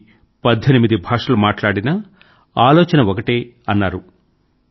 ఇది పద్దెనిమిది భాషలు మాట్లాడినా ఆలోచన ఒకటే అన్నారు